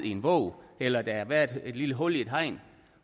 i en bog eller at der har været et lille hul i et hegn